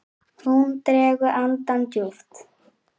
Hún dregur andann djúpt.